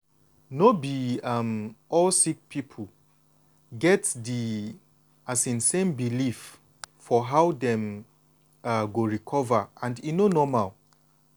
no be um all sick people get di um same belief for how dem um go recover and e normal.